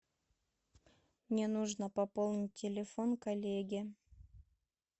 мне нужно пополнить телефон коллеге